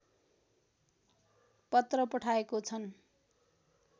पत्र पठाएको छन्